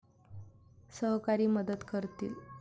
सहकारी मदत करतील.